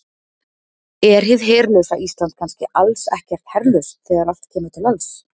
Er hið herlausa Ísland kannski alls ekkert herlaust þegar allt kemur til alls?